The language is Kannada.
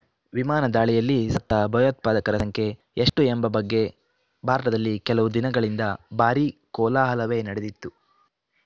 ವಿಮಾನ ದಾಳಿಯಲ್ಲಿ ಸತ್ತ ಭಯೋತ್ಪಾದಕರ ಸಂಖ್ಯೆ ಎಷ್ಟು ಎಂಬ ಬಗ್ಗೆ ಭಾರತದಲ್ಲಿ ಕೆಲವು ದಿನಗಳಿಂದ ಭಾರಿ ಕೋಲಾಹಲವೇ ನಡೆದಿತ್ತು